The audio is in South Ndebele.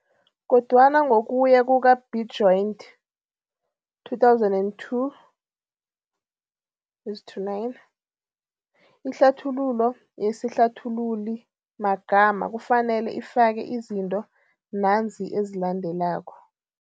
Kodwana ngokuya kuka-Bejoint, 2002, 9, ihlathululo yesihlathululimagama kufanele ifake izinto nanzi ezilandelako.